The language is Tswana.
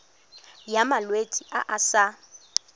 ya malwetse a a sa